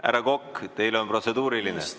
Härra Kokk, teil on protseduuriline.